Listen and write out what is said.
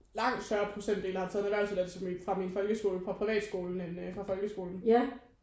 Langt større procentdel der har taget en erhvervsuddannelse fra min folkeskole fra privatskolen end fra folkeskolen